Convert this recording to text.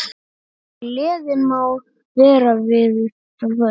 Gleðin má vera við völd.